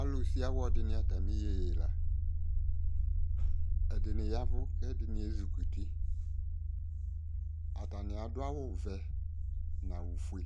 Alusiawɔ de ne atame yeye la Ɛdene yavu ko ɛdene ezikuti Atane ado awuvɛ no awufue